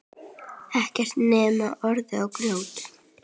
Ekkert nema urð og grjót.